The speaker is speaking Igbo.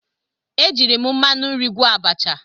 E jiiri m mmanụ nri gwọọ abacha.